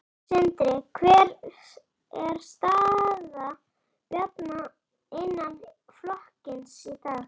Sindri: Hver er staða Bjarna innan flokksins í dag?